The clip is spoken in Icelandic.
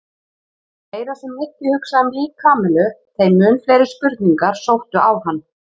Því meira sem Nikki hugsaði um líf Kamillu þeim mun fleiri spurningar sóttu á hann.